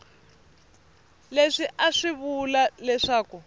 leswi a swi vula leswaku